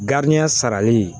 sarali